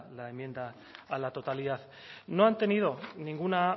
la enmienda a la totalidad no han tenido ninguna